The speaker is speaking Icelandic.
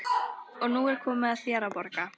Og nú er komið að þér að borga.